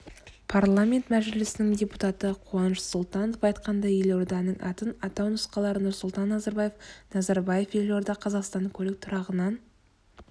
парламент мәжілісінің депутаты қуаныш сұлтанов айтқандай елорданың атын атау нұсқалары нұрсұлтан назарбаев назарбаев-елорда қазақстан көлік тұрағынан